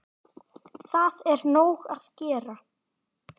Það er nóg að gera!